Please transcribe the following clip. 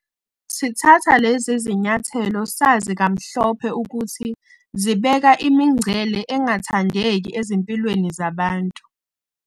Sithatha lezi zinyathelo sazi kamhlophe ukuthi zibeka imingcele engathandeki ezimpilweni zabantu.